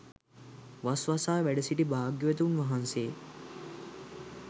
වස් වසා වැඩසිටි භාග්‍යවතුන් වහන්සේ